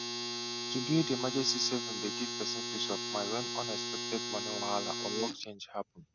to build emergency savings dey give penrson peace of mind when unexpected moni wahala or work change happen